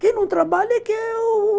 Quem não trabalha é que u